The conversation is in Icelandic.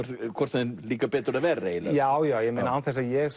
þeim líkar betur eða verr eiginlega já já án þess að ég